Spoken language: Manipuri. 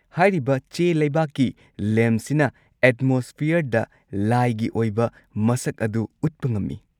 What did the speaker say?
ꯍꯥꯏꯔꯤꯕ ꯆꯦꯂꯩꯕꯥꯛꯀꯤ ꯂꯦꯝꯞꯁꯤꯅ ꯑꯦꯠꯃꯣꯁꯐꯤꯌꯔꯗ ꯂꯥꯏꯒꯤ ꯑꯣꯏꯕ ꯃꯁꯛ ꯑꯗꯨ ꯎꯠꯄ ꯉꯝꯃꯤ꯫